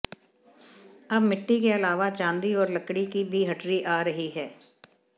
अब मिट्टी के अलावा चांदी और लकड़ी की भी हटरी आ रही हैं